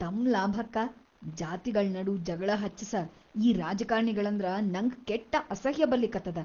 ತಮ್‌ ಲಾಭಕ್ಕ ಜಾತಿಗಳ್‌ ನಡು ಜಗಳಾ ಹಚ್ಚಸ ಈ ರಾಜಕಾರ್ಣಿಗಳಂದ್ರ ನಂಗ ಕೆಟ್ಟ ಅಸಹ್ಯ್ ಬರ್ಲಿಕತ್ತದ.